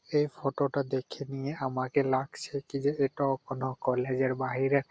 এই ফটো -টা দেখে নিয়ে আমাকে লাগছে কি যে এটা কোনো কলেজের বাহিরে --